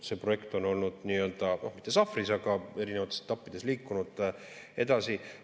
See projekt on olnud nii-öelda mitte sahtlis, aga erinevates etappides liikunud edasi.